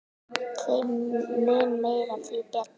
Þeim mun meira, því betra.